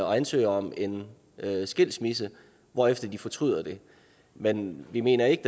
og ansøger om en skilsmisse hvorefter de fortryder det men vi mener ikke